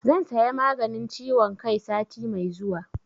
Zan saya maganin ciwon kai sati mai zuwa